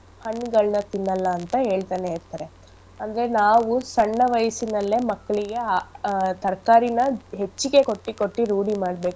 ಹಣ್ಗಳ್ನ ತಿನ್ನಲ್ಲ ಅಂತ ಹೇಳ್ತನೇ ಇರ್ತರೆ ಅಂದ್ರೆ ನಾವು ಸಣ್ಣ ವಯಸ್ಸಿನಲ್ಲೆ ಮಕ್ಳಿಗೆ ಅ ಆಹ್ ತರ್ಕಾರಿನ ಹೆಚ್ಚಿಗೆ ಕೊಟ್ಟಿ ಕೊಟ್ಟಿ ರೂಢಿ ಮಾಡ್ಬೇಕು.